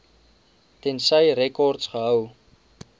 tensy rekords gehou